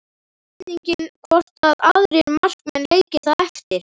Spurning hvort að aðrir markmenn leiki það eftir?